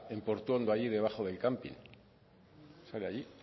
en portuondo allí debajo del camping sale allí